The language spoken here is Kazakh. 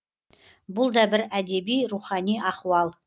бұл да бір әдеби рухани ахуал